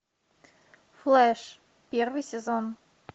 флэш первый сезон